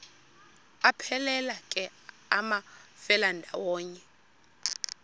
aphelela ke amafelandawonye